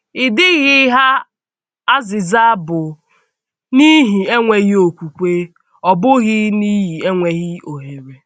Ịdịghị ha azịza bụ n’ihi enweghị okwùkwè, ọ bụghị n’ihi enweghị ohere.